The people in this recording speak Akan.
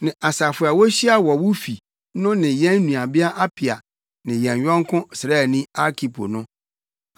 ne asafo a wohyia wɔ wo fi no ne yɛn nuabea Apia ne yɛn yɔnko sraani Arkipo no: